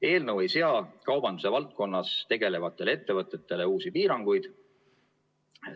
Eelnõu ei sea kaubanduse valdkonnas tegelevatele ettevõtetele uusi piiranguid.